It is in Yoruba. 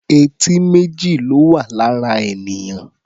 Etí méjì ló wà lára ènìyàn.